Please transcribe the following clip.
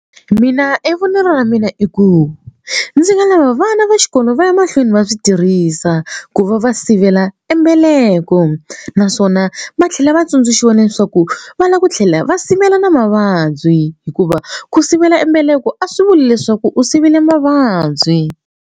Mina e vonelo ra mina i ku ndzi nga lava vana va xikolo va ya mahlweni va swi tirhisa ku va va sivela e mbeleko naswona va tlhela va tsundzuxiwa leswaku va lava ku tlhela va sivela na mavabyi hikuva ku sivela mbeleko a swi vuli leswaku u sivele mavabyi.